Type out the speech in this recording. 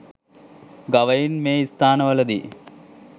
ගවයින් මේ ස්ථාන වලදි